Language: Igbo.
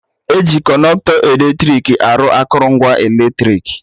Eji Kọnọktọ eletrik arụ akụrụngwa eletrik